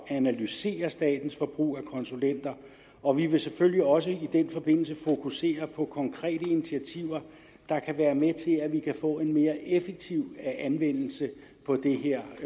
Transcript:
analysere statens forbrug af konsulenter og vi vil selvfølgelig også i den forbindelse fokusere på konkrete initiativer der kan være med til at vi kan få en mere effektiv anvendelse